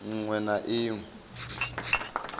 ṅ we na i ṅ